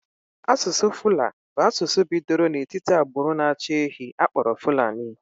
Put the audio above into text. Asụsụ Fula bụ asụsụ bidoro n'etiti agbụrụ na-achị ehi akpọrọ Fulani.